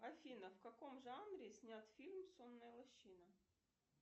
афина в каком жанре снят фильм сонная лощина